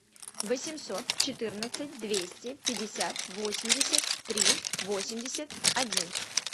восемьсот четырнадцать двести пятьдесят восемьдесят три восемьдесят один